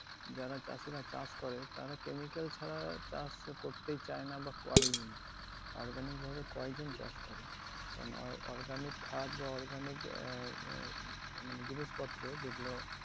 যারা চাষিরা চাষ করে, তারা chemical ছাড়া চাষ তো করতেই চায়না বা করেই নে। Organic ভাবে কয়জন চাষ করে কারণ organic খাদ বা organic এ আহ মানে জিনিসপত্র যেগুলো